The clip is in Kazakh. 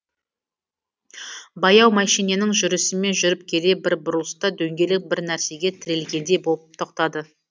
баяу мәшиненің жүрісімен жүріп келе бір бұрылыста дөңгелек бір нәрсеге тірелгендей болып тоқтады